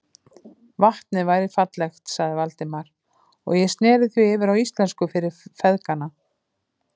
Vatnið væri fallegt, sagði Valdimar, og ég sneri því yfir á íslensku fyrir feðgana.